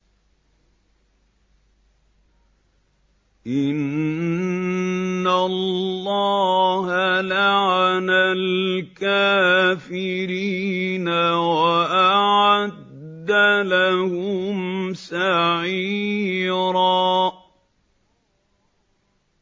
إِنَّ اللَّهَ لَعَنَ الْكَافِرِينَ وَأَعَدَّ لَهُمْ سَعِيرًا